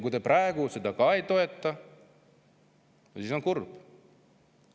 Kui te praegu seda ka ei toeta, siis on kurb.